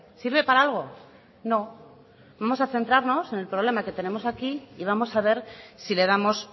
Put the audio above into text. sirve para algo no vamos a centrarnos en el problema que tenemos aquí y vamos a ver si le damos